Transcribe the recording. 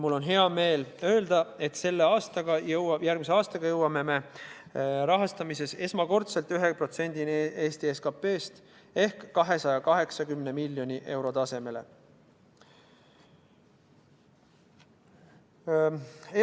Mul on hea meel öelda, et järgmisel aastal jõuame teadus- ja arendustegevuse rahastamisel Eestis esmakordselt 1%-ni SKP-st ehk 280 miljoni euroni.